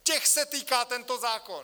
Těch se týká tento zákon!